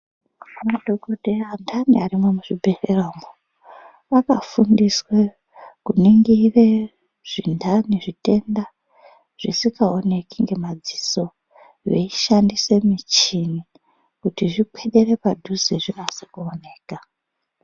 Madhokodheya peyani arimwo muzvibhedhlera umwo akafundire kuningire zvintani zvitenda zvisingaoneki ngemadziso veishandise muchini kuti zvikwedere padhuze zvinase kuoneka.